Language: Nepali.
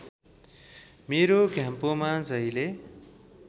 मेरो घ्याम्पोमा जहिले